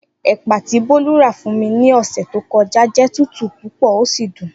Epa ti Bolu ra fun mi ni ose to koja je tutu pupo o si dun.